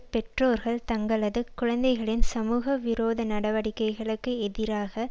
பெற்றோர்கள் தங்களது குழந்தைகளின் சமூக விரோத நடவடிக்க்கைளுக்கு எதிராக